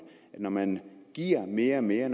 at når man giver mere og mere